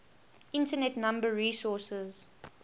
internet number resources